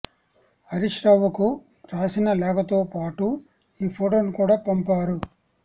హరీశ్ రావుకు రాసిన లేఖతో పాటు ఈ ఫొటోను కూడా పంపారు